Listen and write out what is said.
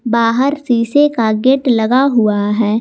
बाहर शीशे का गेट लगा हुआ है।